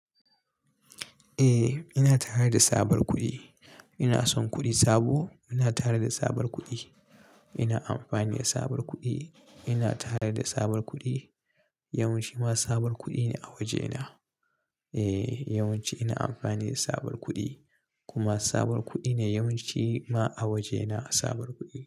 Eh ina tare da tsabar kuɗi. Ina son kuɗi sabo. Ina tare da sabon kuɗi. Ina amfani da sabon kuɗi. Ina tare da sabon kuɗi. Yawan ci ma tsabar kuɗi ne a waje na. Eh yawanci ina amfani da tsabuwar kuɗi kuma tsabuwar kuɗi ne yawanci ma a wajena tsabuwar kuɗi.